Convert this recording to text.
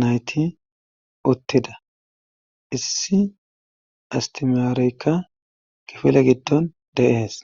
nayti uttida issi istimarekka gifile giddon deees